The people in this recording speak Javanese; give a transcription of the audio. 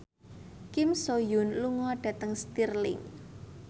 Kim So Hyun lunga dhateng Stirling